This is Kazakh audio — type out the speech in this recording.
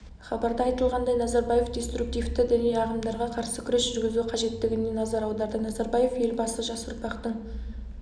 хабарда айтылғандай назарбаев деструктивті діни ағымдарға қарсы күрес жүргізу қажеттігіне назар аударды назарбаев елбасы жас ұрпақтың